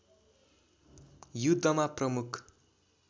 युद्धमा प्रमुख